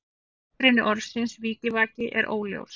Uppruni orðsins vikivaki er óljós.